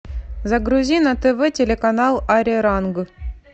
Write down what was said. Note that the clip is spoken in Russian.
загрузи на тв телеканал ариранг